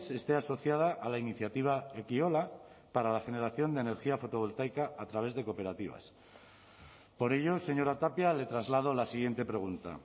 esté asociada a la iniciativa ekiola para la generación de energía fotovoltaica a través de cooperativas por ello señora tapia le traslado la siguiente pregunta